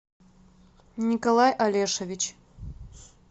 николай олешевич